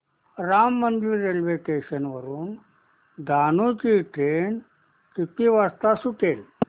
Ram Mandir railway station वरुन डहाणू ची train किती वाजता सुटेल